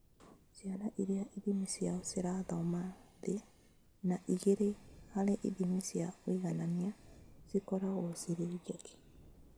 Ciana iria ithimi ciao cirathoma thĩ na igĩrĩ harĩ ithimi cia ũiganania cikoragwo cirĩ njeke